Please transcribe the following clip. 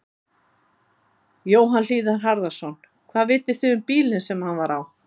Jóhann Hlíðar Harðarson: Hvað vitið þið um bílinn sem hann var á?